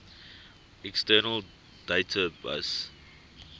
external data bus